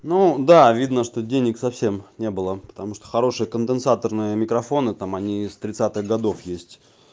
ну да видно что денег совсем не было потому что хорошие конденсаторные микрофоны там они с тридцатых годов есть